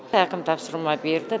әкім тапсырма берді